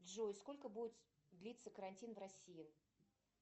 джой сколько будет длиться карантин в россии